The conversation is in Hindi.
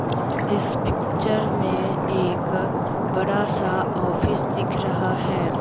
इस पिक्चर में एक बड़ा सा ऑफिस दिख रहा है।